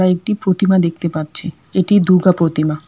একটি প্রতিমা দেখতে পাচ্ছি এটি দুর্গা প্রতিমা।